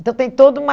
Então, tem toda uma...